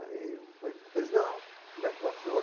Aí eu falei, pois não, como é que vai o senhor?